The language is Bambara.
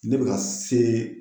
Ne bɛ ka see